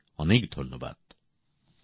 অনেক অনেক ধন্যবাদ